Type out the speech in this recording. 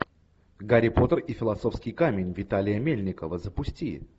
гарри поттер и философский камень виталия мельникова запусти